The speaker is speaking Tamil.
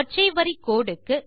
ஒற்றை வரி கோடு க்கு